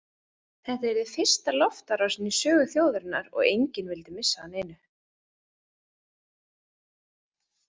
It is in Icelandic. Þetta yrði fyrsta loftárásin í sögu þjóðarinnar og enginn vildi missa af neinu.